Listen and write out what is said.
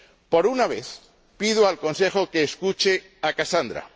Por una vez, pido al Consejo que escuche a Casandra.